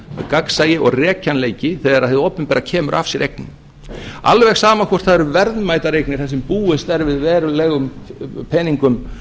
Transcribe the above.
gagnsæi og rekjanleiki þegar hið opinbera kemur af sér eignum alveg sama hvort það eru verðmætar eignir þar sem búist er við verulegum peningum